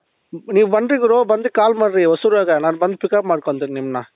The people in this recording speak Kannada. ನೀವು ಬನ್ರಿ ಗುರು ಬಂದು ಕಾಲ್ ಮಾಡರಿ ಹೊಸೂರ್ ಆಗ ನಾನ್ ಬಂದು pick up ಮಾಡ್ಕೊಂತೀನಿ ನಿಮ್ನ